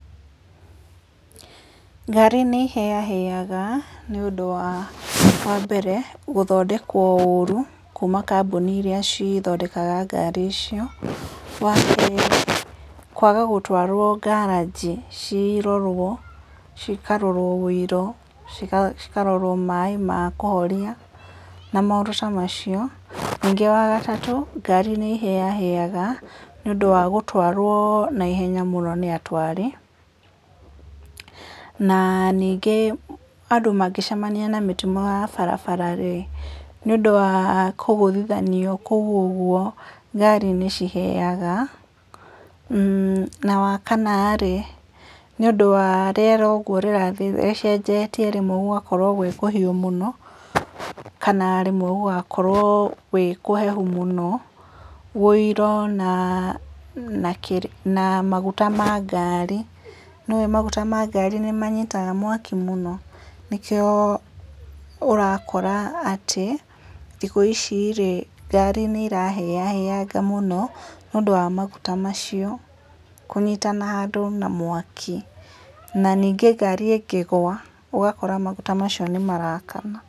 Ngari nĩhĩahĩaga, nĩũndũ wa wambere, gũthondekwo ũru, kuma kambũĩnĩ iria cithondekaga ngari icio, wa kerĩ, kwaga gũtwarwo ngaraji cirorwo, cikarorwo wĩiro, cikarorwo maĩ ma kũhoria, na maũndũ ta macio, ningĩ wa gatatũ, ngari nĩ hĩahĩaga, nĩũndũ wa gũtwarwo na ihenya mũno nĩatwari, na nĩngĩ andũ mangĩcemania na mĩtino ya barabara rĩ, nĩ ũndũ wa kũgũthithanio kũu ũguo, ngari nĩ cihĩaga, na wa kana rĩ, nĩũndũ wa rĩera ũguo rĩrathiĩ rĩcenjetie rĩmwe gũgakorwo gwĩ kũhiũ mũno, kana rĩmwe gũgakorwo gwĩ kũhehu mũno, wĩiro na na maguta ma ngari, nĩũĩ maguta ma ngari nĩmanyitaga mwaki mũno, nĩkĩo ũrakora atĩ, thikũ ici rĩ, ngari nĩrahĩahĩanga mũno, nĩũndũ wa maguta macio, kũnyitana handũ na mwaki. Na ningĩ ngari ingĩ gwa, ũgakora maguta macio nĩmarakana.